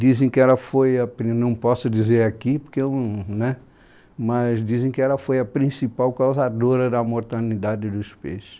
Dizem que ela foia pri, eu não posso dizer aqui porque eu não, né, mas dizem que ela foi a principal causadora da mortalidade dos peixes.